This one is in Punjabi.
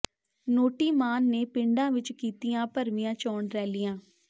ਨੋਟੀ ਮਾਨ ਨੇ ਪਿੰਡਾਂ ਵਿਚ ਕੀਤੀਆਂ ਭਰਵੀਆਂ ਚੋਣ ਰੈਲੀਆਂ